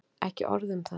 Ekki orð um það.